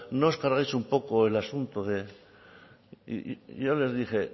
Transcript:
no os cargáis un poco el asunto de y yo les dije